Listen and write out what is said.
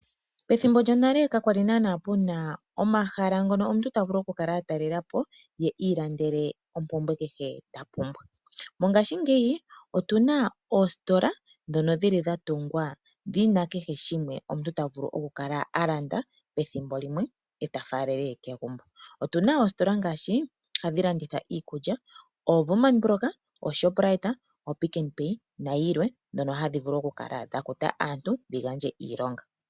Methimbo lyonale kakwali naana kuna omahala ngono omuntu ta vulu oku kala atalelapo ye ilandele ompumbwe kehe ta pumbwa. Mongashingeyi otuna oositola dhono dhili dha tungwa dhina kehe shimwe omu ta vulu okwi ilandela mono omuntu ta vulu oku kala alanda pethimbo limwe eta faalele kegumbo. Otuna oositola ngaashi hadhi landitha iikulya, oWoerman brock, oShoprite, oPick nPay nadhilwe dhoka hadhi vulu oku kala dha kuta aantu dhi gandje iilonga.